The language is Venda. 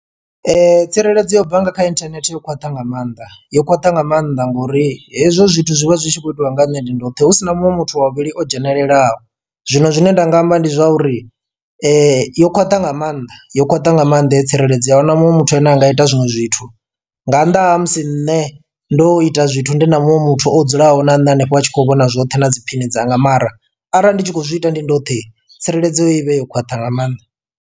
Tsireledzo yo bva nga kha inthanethe yo khwaṱha nga maanḓa yo khwaṱha nga maanḓa ngori hezwo zwithu zwi vha zwi tshi khou itiwa nga ha nṋe ndi ndoṱhe husina muṅwe muthu wa vhuvhili o dzhenelelaho, Zwino zwine nda nga amba ndi zwauri yo khwaṱha nga maanḓa yo khwaṱha nga maanḓa yo tsireledzo a ahuna muṅwe muthu ane anga ita zwinwe zwithu. Nga nnḓa ha musi nne ndo ita zwithu ndi na muṅwe muthu o dzulaho na nṋe hanefho a tshi khou vhona zwoṱhe na dzi phini dzanga, mara arali ndi tshi kho zwi ita ndi ndoṱhe tsireledzo ivhe yo khwaṱha nga maanḓa.